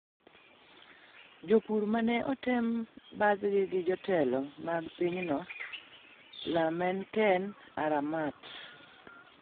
Jopur mane oten bathgi gi jotelo mag pinyno, Lemanken Aramat,